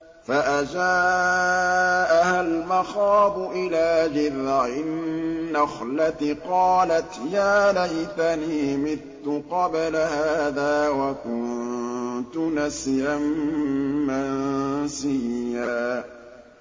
فَأَجَاءَهَا الْمَخَاضُ إِلَىٰ جِذْعِ النَّخْلَةِ قَالَتْ يَا لَيْتَنِي مِتُّ قَبْلَ هَٰذَا وَكُنتُ نَسْيًا مَّنسِيًّا